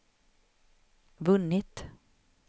vunnit